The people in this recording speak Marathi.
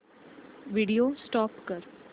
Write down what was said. व्हिडिओ स्टॉप कर